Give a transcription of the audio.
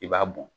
I b'a bɔn